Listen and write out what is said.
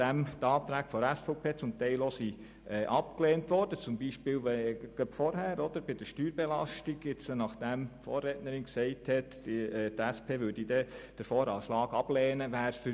Für uns wäre es jetzt verlockend, die Verantwortung ebenfalls nicht wahrzunehmen und den VA ebenfalls abzulehnen, nachdem die Anträge der SVP zum Teil auch abgelehnt worden sind.